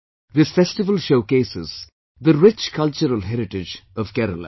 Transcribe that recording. This festival showcases the rich cultural heritage of Kerala